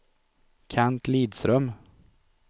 Kent Lidström